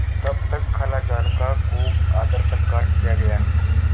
तब तक खालाजान का खूब आदरसत्कार किया गया